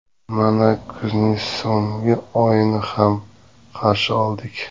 Mana kuzning so‘nggi oyini ham qarshi oldik.